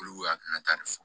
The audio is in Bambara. Olu hakilina ta de fɔ